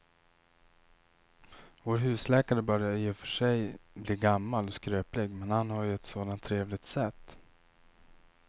Vår husläkare börjar i och för sig bli gammal och skröplig, men han har ju ett sådant trevligt sätt!